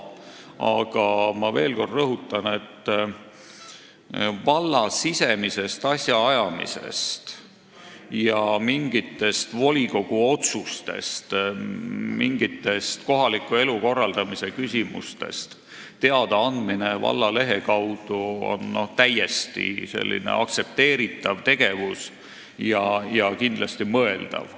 Aga ma rõhutan veel kord, et valla sisemisest asjaajamisest ja mingitest volikogu otsustest või kohaliku elu korraldamise küsimustest teadaandmine lehe kaudu on täiesti aktsepteeritav tegevus ja kindlasti mõeldav.